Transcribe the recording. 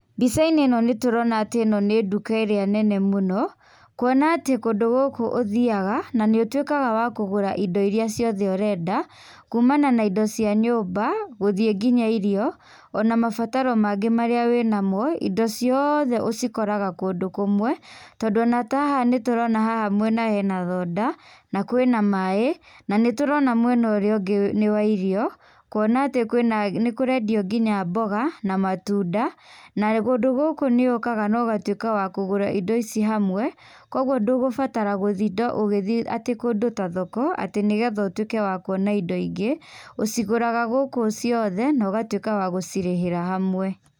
Mbicainĩ ĩno nĩtũronatĩ ĩno nĩ nduka ĩrĩa nene mũno, kuona atĩ kũndũ gũkũ ũthiaga, na nĩũtuĩkaga wa kũgũra indo iria ciothe ũrenda, kumana na indo cia nyũmba, gũthiĩ nginya irio, ona mabataro mangĩ marĩa wĩnamo, indo cioothe ũcikoraga kũndũ kũmwe, tondũ ona ta haha, nĩtũrona haha mwena hena thonda, na kwĩna maĩ, na nĩtũrona mwena urĩa ungĩ nĩ wa irio, kuona atĩ kwĩna, nĩkũrendio nginya mboga, na matunda, na kũndũ gũkũ nĩũkaga na ũgatuĩka wa kũgũra indo ici hamwe, kuoguo ndũgũbatara gũtinda ũgĩthiĩ atĩ kũndũ ta thoko, atĩ nĩgetha ũtuĩke wa kuona indo ingĩ, ũcigũraga gũkũ ciothe, na ũgatuĩka wa gũcĩrĩhĩra hamwe.